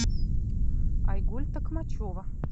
айгуль токмачева